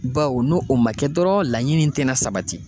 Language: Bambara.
Baw n'o o ma kɛ dɔrɔn laɲini in te na sabati.